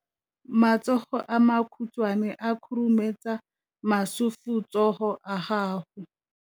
matsogo a makhutshwane a khurumetsa masufutsogo a gago